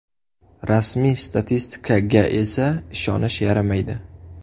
Rasmiy statistikaga esa ishonish yaramaydi.